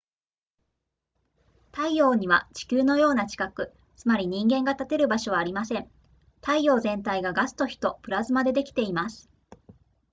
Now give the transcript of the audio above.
太陽には地球のような地殻つまり人間が立てる場所はありません太陽全体がガスと火とプラズマでできています